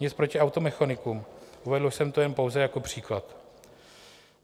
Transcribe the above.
Nic proti automechanikům, uvedl jsem to jen pouze jako příklad.